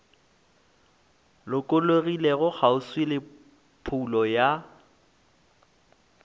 lokologilego kgauswi le phoulo ya